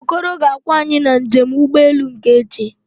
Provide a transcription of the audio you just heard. Okoro ga-akwọ anyị na njem ụgbọelu nke echi